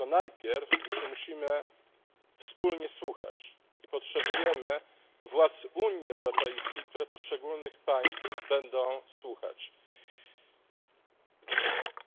Tylko najpierw musimy się wspólnie słuchać i potrzebujemy władz Unii Europejskiej, które poszczególnych państw będą słuchać.